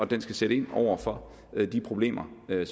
den skal sætte ind over for de problemer der